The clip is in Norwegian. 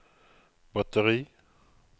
batteri